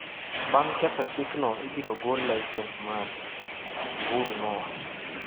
"Bar ma ketho chikno ibiro golo laisens maggi", Uhuru nowacho.